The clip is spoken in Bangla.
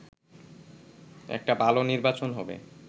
একটা ভালো নির্বাচন হবে